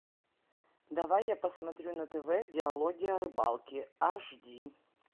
давай я посмотрю на тв диалоги о рыбалке аш ди